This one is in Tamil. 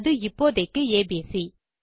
அது இப்போதைக்கு ஏபிசி